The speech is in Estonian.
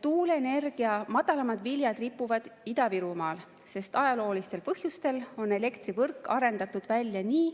Tuuleenergia madalamad viljad ripuvad Ida-Virumaal, sest ajaloolistel põhjustel on elektrivõrk arendatud välja nii,